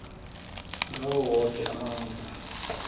ngawo woke amandla